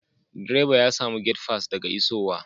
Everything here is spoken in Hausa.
Direba ya samu gate fass daga isowa.